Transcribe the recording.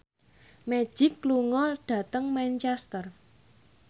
Magic lunga dhateng Manchester